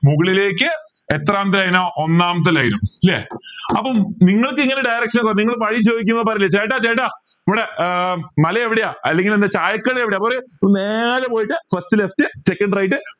മുകളിലേക്ക് എത്രാമത്തെ ഇനം ഒന്നാമത്തെ line ഉം ല്ലേ അപ്പം നിങ്ങൾക്ക് ഇങ്ങനെ direction നിങ്ങൾ വഴി ചോദിക്കുമ്പോൾ അറിയില്ലേ ചേട്ടാ ചേട്ടാ ഇവിടെ ഉം മല എവിടെയാ അല്ലെങ്കിൽ എന്താ ചായക്കട എവിടെയാ അപ്പൊ പറയും ഇവിടുന്ന് നേരെ പോയിട്ട് first left second right